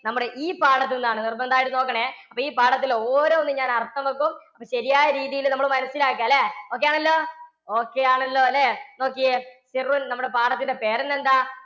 നമ്മുടെ ഈ പാഠത്തിൽ നിന്നാണ്. നിർബന്ധമായും നോക്കണേ. അപ്പം ഈ പാഠത്തിലെ ഓരോന്നും ഞാൻ അർത്ഥം വയ്ക്കും, ശരിയായ രീതിയിൽ നമ്മൾ മനസ്സിലാക്കുക അല്ലേ? okay ആണല്ലോ okay ആണല്ലോ അല്ലേ? നോക്കിയേ നമ്മുടെ പാഠത്തിൻറെ പേര് തന്നെ എന്താ?